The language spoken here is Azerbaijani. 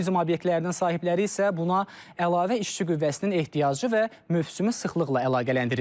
Turizm obyektlərinin sahibləri isə buna əlavə işçi qüvvəsinin ehtiyacı və mövsümi sıxlıqla əlaqələndirir.